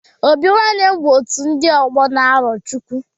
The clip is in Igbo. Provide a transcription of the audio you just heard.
Obi nwanne bụ otu ndị ọgbọ na Arochukwu